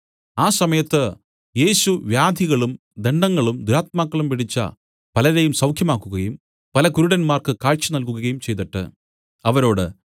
ആ സമയത്ത് യേശു വ്യാധികളും ദണ്ഡങ്ങളും ദുരാത്മാക്കളും പിടിച്ച പലരെയും സൌഖ്യമാക്കുകയും പല കുരുടന്മാർക്ക് കാഴ്ച നല്കുകയും ചെയ്തിട്ട് അവരോട്